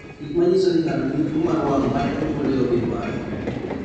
Gik manyiso ni ng'ato nigi tuwo mar wang' ma ne onyuolego gin mage?